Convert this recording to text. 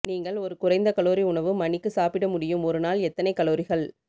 நீங்கள் ஒரு குறைந்த கலோரி உணவு மணிக்கு சாப்பிட முடியும் ஒரு நாள் எத்தனை கலோரிகள்